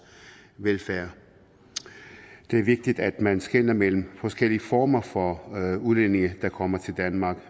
velfærd det er vigtigt at man skelner mellem forskellige former for udlændinge der kommer til danmark